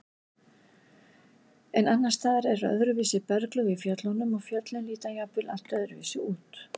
En annars staðar eru öðruvísi berglög í fjöllunum og fjöllin líta jafnvel allt öðruvísi út.